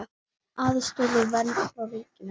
Aðstoð og vernd frá ríkinu